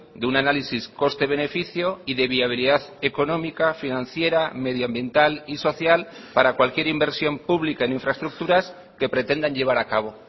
de un análisis coste beneficio y de viabilidad económica financiera medioambiental y social para cualquier inversión pública en infraestructuras que pretendan llevar a cabo